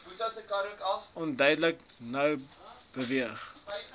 uiteindelik nou beweeg